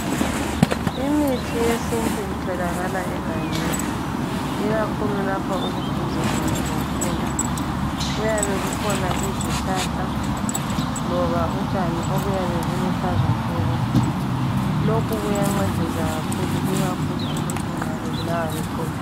Imithi yesintu itholakala egangeni, ikakhulu lapho okuduze khona lomfula. Kuyabe kukhona izihlahla loba utshani obuyabe buluhlaza tshoko. Lokhu kuyancedisa kakhulu ikakhulu nxa umuntu ebulawa liqolo.